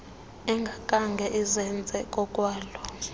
engakhange izenze ngokwalo